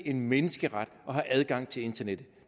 en menneskeret at have adgang til internettet